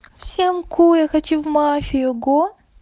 всем ку я хочу в мафию го